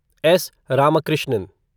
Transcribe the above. S. Ramakrishnan